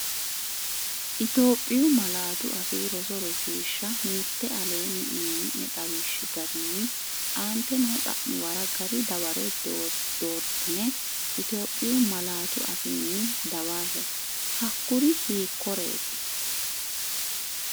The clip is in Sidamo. Itophiyu Malaatu Afii Roso Rosiishsha Mite Aleenni uyini’ne xawishshi garinni aante noo xa’muwara gari dawaro doortine Itophiyu Malaatu afiinni dawarre, Hakkuri hiikkoreeti?